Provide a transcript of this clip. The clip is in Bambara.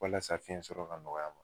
Walasa fiyɛnsɔrɔ ka nɔgɔya a ma.